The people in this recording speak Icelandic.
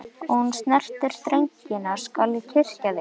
Og ef þú snertir drengina skal ég kyrkja þig.